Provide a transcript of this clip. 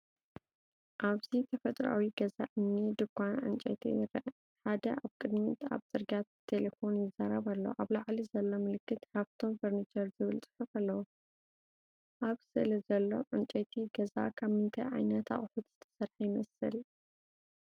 ኣብዚ ተፈጥሮኣዊ ገዛ እምኒ ድኳን ዕንጨይቲ ይርአ። ሓደ ኣብ ቅድሚት ኣብ ጽርግያ ብቴሌፎን ይዛረብ ኣሎ። ኣብ ላዕሊ ዘሎ ምልክት “ሃፍቶም ፍርኒችር” ዝብል ጽሑፍ ኣለዎ። ኣብ ስእሊ ዘሎ ዕንጨይቲ ገዛ ካብ ምንታይ ዓይነት ኣቑሑት ዝተሰርሐ ይመስል?